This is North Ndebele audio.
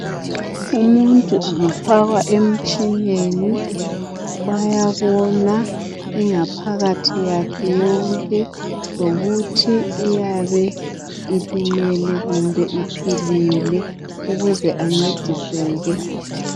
Umuntu angafakwa emtshineni bayabona ingaphakathi yakhe yonke ngokuthi iyabe iphilile kumbe ilimele ukuze encediseke.